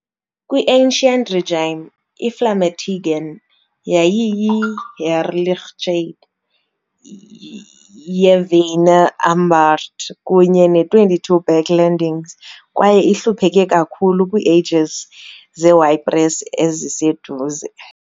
Kwi-Ancien Régime iVlamertinge yayiyi "Heerlijkheid" yeVeinne-Ambacht kunye ne-22 backlendings kwaye ihlupheke kakhulu kwiieges zeYpres eziseduze.